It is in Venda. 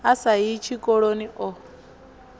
a sa yi tshikoloni o